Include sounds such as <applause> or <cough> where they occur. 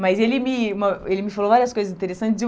Mas ele me <unintelligible> ele me falou várias coisas interessantes.